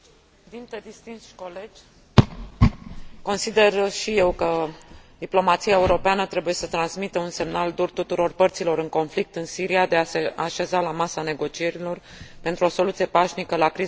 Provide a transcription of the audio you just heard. Consider și eu că diplomația europeană trebuie să transmită un semnal dur tuturor părților în conflict în Siria, de a se așeza la masa negocierilor pentru o soluție pașnică la criza care însângerează această țară de jumătate de an.